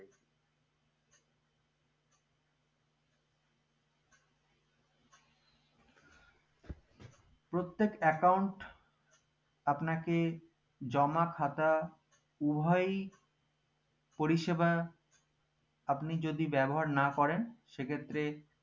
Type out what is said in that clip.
প্রত্যেক account আপনাকে জমা খাতা উভয়ই পরিষেবা আপনি যদি ব্যবহার না করেন তাহলে